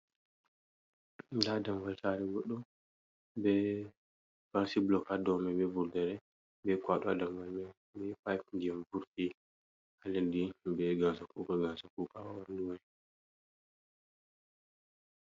Dammugal sare goɗɗo, be fanshi blokad domi be vurdere be kwado ha do mai ma pipe ndiyam vurti haladdi.